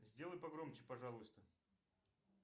сделай погромче пожалуйста